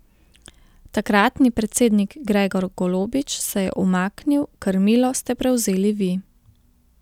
Takratni predsednik Gregor Golobič se je umaknil, krmilo ste prevzeli vi.